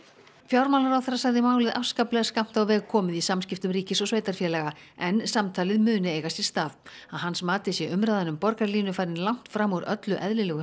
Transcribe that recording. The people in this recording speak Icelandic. fjármálaráðherra segir málið afskaplega skammt á veg komið í samskiptum ríkis og sveitarfélaga en samtalið muni eiga sér stað að hans mati sé umræðan um borgarlínu farin langt fram úr öllu eðlilegu